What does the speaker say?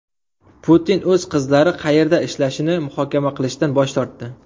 Putin o‘z qizlari qayerda ishlashini muhokama qilishdan bosh tortdi.